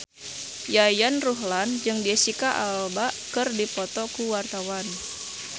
Yayan Ruhlan jeung Jesicca Alba keur dipoto ku wartawan